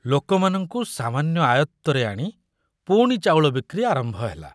ଲୋକମାନଙ୍କୁ ସାମାନ୍ୟ ଆୟତ୍ତରେ ଆଣି ପୁଣି ଚାଉଳ ବିକ୍ରି ଆରମ୍ଭ ହେଲା।